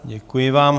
Děkuji vám.